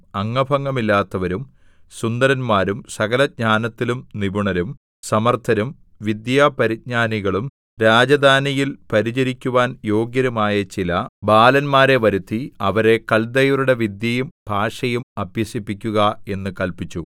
അംഗഭംഗമില്ലാത്തവരും സുന്ദരന്മാരും സകലജ്ഞാനത്തിലും നിപുണരും സമർത്ഥരും വിദ്യാപരിജ്ഞാനികളും രാജധാനിയിൽ പരിചരിക്കുവാൻ യോഗ്യരും ആയ ചില ബാലന്മാരെ വരുത്തി അവരെ കല്ദയരുടെ വിദ്യയും ഭാഷയും അഭ്യസിപ്പിക്കുക എന്ന് കല്പിച്ചു